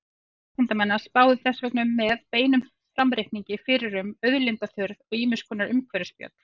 Hópar vísindamanna spáðu þess vegna með beinum framreikningi fyrir um auðlindaþurrð og ýmiss konar umhverfisspjöll.